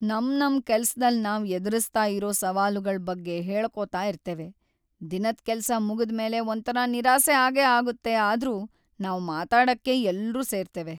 ನಮ್ ನಮ್ ಕೆಲ್ಸದಲ್ ನಾವ್ ಎದುರಿಸ್ತಾ ಇರೋ ಸವಾಲುಗಳ್ ಬಗ್ಗೆ ಹೇಳ್ಕೋತ ಇರ್ತೇವೆ. ದಿನದ್ ಕೆಲ್ಸ ಮುಗುದ್ ಮೇಲೆ ಒಂತರ ನಿರಾಸೆ ಆಗೇ ಆಗುತ್ತೆ ಆದ್ರೂ ನಾವ್ ಮಾತಾಡಕ್ಕೆ ಎಲ್ರು ಸೇರ್ತೆವೆ,